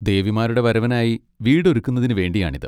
ദേവിമാരുടെ വരവിനായി വീട് ഒരുക്കുന്നതിന് വേണ്ടിയാണിത്.